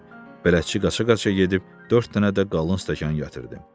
Bələdçi qaça-qaça gedib dörd dənə də qalın stəkan gətirdi.